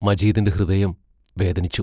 മജീദിന്റെ ഹൃദയം വേദനിച്ചു.